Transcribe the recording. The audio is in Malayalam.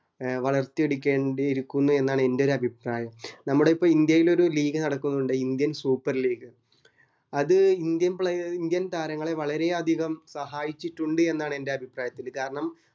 ഏർ വളർത്തി എടുക്കേണ്ടി യിരിക്കുന്നു എന്നാണ് എൻ്റെ ഒരു അഭിപ്രായം നമ്മുടെ ഇപ്പൊ ഇന്ത്യയിൽ ഒരു league നടക്കുന്നുണ്ട് indian super league അത് indian പ്ലെയേ indian താരങ്ങളെ വളരെയധികം സഹായിച്ചിട്ടുണ്ട് എന്നാണ് എൻ്റെ അഭിപ്രായത്തില് കാരണം